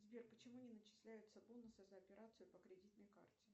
сбер почему не начисляются бонусы за операцию по кредитной карте